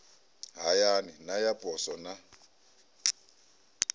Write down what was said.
hayani na ya poswo na